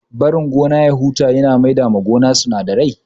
Barin gona ya huta ya na maida ma gona sinadarai